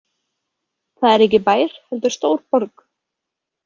Það er ekki bær heldur stór borg.